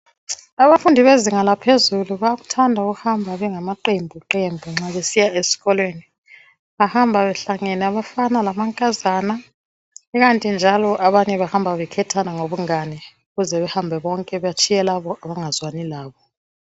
Abafundi bezinga laphezulu bayakuthanda ukuhamba bengama qembu qembu nxa besiya esikolweni, bahamba behlangene abafana lamankazana,, kukanti njalo abanye bahamba bekhethana ngobungane ukuze behambe bonke batshiye laba abangazwani labo.